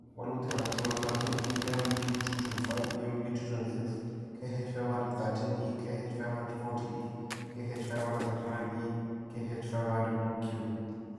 walutik alak che ng'atootin: EMB225, EMB226, KH500-13E, KH500-40E, KH500-39E, KH500-Q.